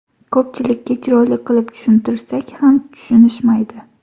Ko‘pchilikka chiroyli qilib tushuntirsak ham tushunishmaydi.